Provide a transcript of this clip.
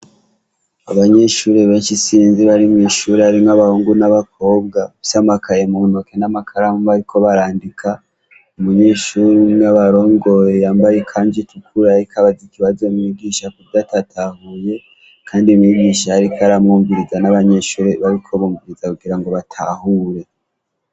Abanyeshure bensh' isinzi bari mwishure harimw' abahungu n' abakobwa bafis' amakaye muntoki n' amakaramu bariko barandika, umunyeshur' umw' abarongoye yambay' ikanz' itukura, arik' arabaz' ibibazo mwigisha kuvy' atatahuye kandi mwigish' arik' aramwumviriza n' abanyeshure bari kumviriza kugirango batahure.